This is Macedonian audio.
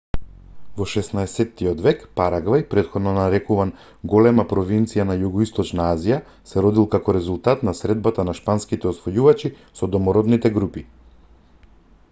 во 16-тиот век парагвај претходно нарекуван големата провинција на југоисточна азија се родил како резултат на средбата на шпанските освојувачи со домородните групи